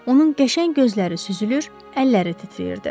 Onun qəşəng gözləri süzülür, əlləri titrəyirdi.